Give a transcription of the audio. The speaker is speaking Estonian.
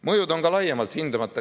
Mõjud on ka laiemalt hindamata.